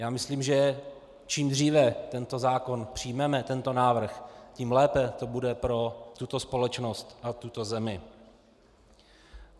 Já myslím, že čím dříve tento zákon přijmeme, tento návrh, tím lépe to bude pro tuto společnost a tuto zemi.